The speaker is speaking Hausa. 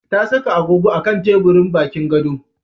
Ta saka agogo a kan teburin bakin gado.